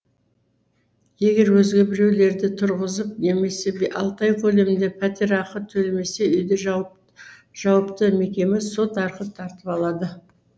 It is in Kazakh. егер өзге біреулерді тұрғызып немесе алты ай көлемінде пәтерақы төлемесе үйді жауыпты мекеме сот арқылы тартып алады